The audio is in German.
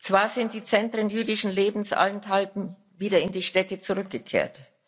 Zwar sind die Zentren jüdischen Lebens allenthalben wieder in die Städte zurückgekehrt